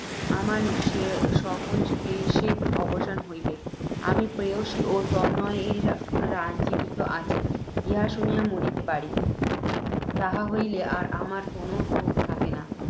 আমার সকল ক্লেশের অবসান হইবেক। যদি, প্রেয়লী ও তনয়েরা জীবিত আছে, ইহা শুনিয়া মরিতে পারি, তাহা হইলে আর আমার কোনও ক্ষোভ থাকে না।